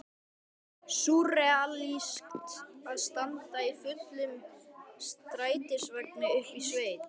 Súrrealískt að standa í fullum strætisvagni uppi í sveit!